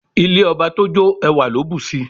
Ilé ọba tójó ẹwà ló bùsi.